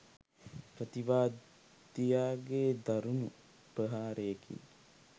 ප්‍රතිවාදියාගේ දරුණු ප්‍රහාරයකින්